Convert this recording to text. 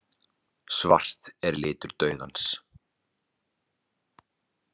Svart er litur dauðans.